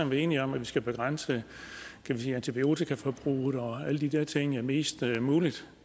være enige om at vi skal begrænse antibiotikaforbruget og alle de der ting mest muligt